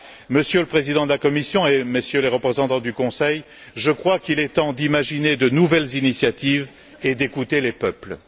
Monsieur le Président de la Commission et Messieurs les représentants du Conseil, je crois qu'il est temps d'imaginer de nouvelles initiatives et d'écouter les peuples.